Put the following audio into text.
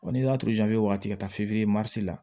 Wa n'i y'a waati ka taa f'i ye la